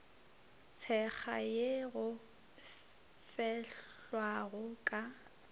tshekga ye go fehlwago ka